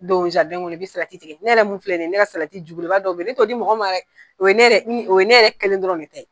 Don kɔnɔ, i bi salati tigɛ, ne yɛrɛ mun filɛ ni ye, ne salati jubelebeleba dɔ be yen, ne to di mɔgɔ ma dɛ, o ye ne o ye ne yɛrɛ kelen dɔrɔn de ta ye.